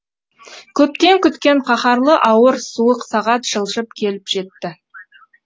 көптен күткен қаһарлы ауыр суық сағат жылжып келіп жетті